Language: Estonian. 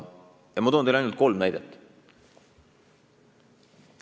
Ma toon teile ainult kolm näidet.